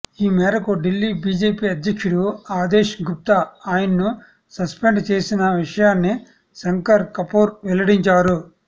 ఈ మేరకు ఢిల్లీ బీజేపీ అధ్యక్షుడు అదేష్ గుప్తా ఆయన్ను సస్పెండ్ చేసిన విషయాన్ని శంకర్ కపూర్ వెల్లడించారు